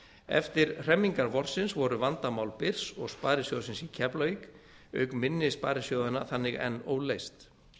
eftir hremmingar vorsins voru vandamál byrs og sparisjóðsins í keflavík auk minni sparisjóðanna þannig enn óleyst